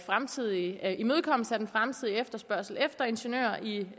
fremtidige efterspørgsel efter ingeniører i